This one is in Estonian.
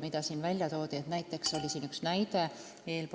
Siin toodi enne näide, et